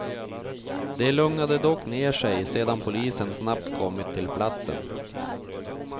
Det lugnade dock ner sig sedan polisen snabbt kommit till platsen.